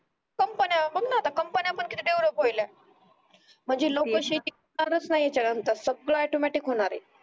आता कंपनी पण किती पुराल्या म्हणजे लोक शेती करणारच नाही याच्या नंतर सगड ऑटोमॅटिक होणार आहे